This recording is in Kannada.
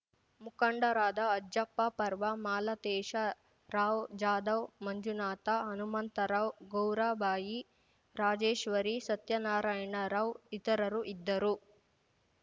ಮುಖಂಡರಾದ ಅಜ್ಜಪ್ಪ ಪರ್ವ ಮಾಲತೇಶ ರಾವ್‌ ಜಾಧವ್‌ ಮಂಜುನಾಥ ಹನುಮಂತರಾವ್‌ ಗೌರಬಾಯಿ ರಾಜೇಶ್ವರಿ ಸತ್ಯನಾರಾಯಣ ರಾವ್‌ ಇತರರು ಇದ್ದರು